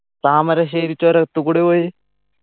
താമരശ്ശേരി ചുരത്ത്കൂടിയാ പോയെ